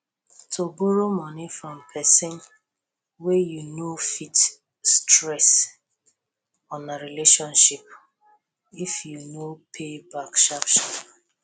to borrow money from person wey you know fit stress una relationship if you no pay back sharp sharp